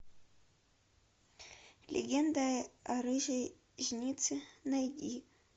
легенда о рыжей жнице найди